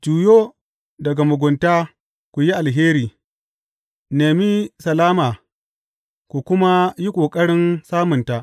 Juyo daga mugunta ku yi alheri; nemi salama ku kuma yi ƙoƙarin samunta.